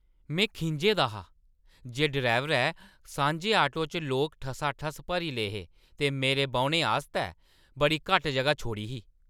मैं खिंझे दा हा जे ड्राइवरै सांझे-ऑटो च लोक ठसाठस भरी ले हे ते मेरे बौह्‌ने आस्तै बड़ी घट्ट जगह् छोड़ी ही।